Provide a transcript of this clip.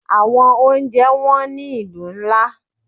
Àwọn oúnjẹ wón ní ìlú ńlá.